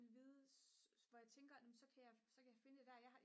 vides hvor jeg tænker nå men så kan jeg så kan jeg finde det der jeg har